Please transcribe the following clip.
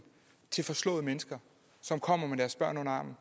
til forslåede mennesker som kommer med deres børn under armen